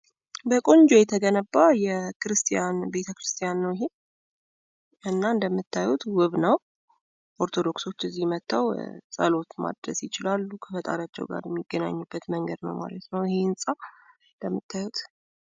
በቆንጆ የተገነባ የክርስቲያን ቤተ ክርስቲያን ነው። እንደምታዩት በጣም ዉብ ነው፤ እና ክርስቲያኖች እዚህ መተው ጸሎት ማድረስ ይችላሉ ማለት፤ ከፈጣሪያቸው ጋር የሚገናኙበት አንዱ መንገድ ነው ማለት ነው።